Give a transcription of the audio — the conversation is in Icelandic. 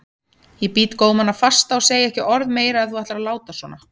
Ég bít gómana fasta og segi ekki orð meira ef þú ætlar að láta svona.